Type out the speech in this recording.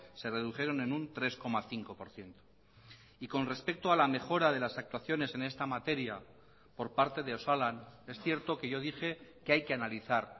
se redujeron en un tres coma cinco por ciento y con respecto a la mejora de las actuaciones en esta materia por parte de osalan es cierto que yo dije que hay que analizar